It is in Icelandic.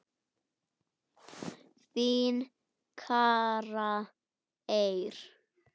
Þín, Kara Eir.